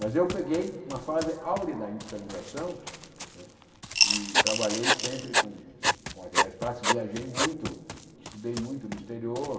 Mas eu peguei uma fase áurea da industrialização né e trabalhei sempre com com materiais plásticos, viajei muito, estudei muito no exterior,